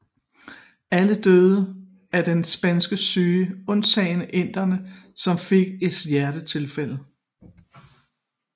Alle døde af den spanske syge undtagen inderen som fik et hjertetilfælde